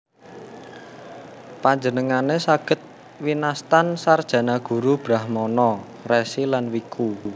Panjenengane saged winastan sarjana guru brahmana resi lan wiku